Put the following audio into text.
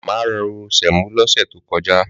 Màmá ro sẹ̀mó lọ́sẹ̀ to kojá.